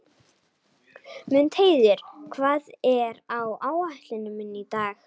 Mundheiður, hvað er á áætluninni minni í dag?